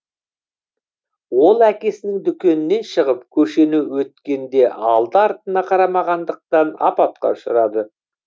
ол әкесінің дүкенінен шығып көшені өткенде алды артына қарамағандықтан апатқа ұшырады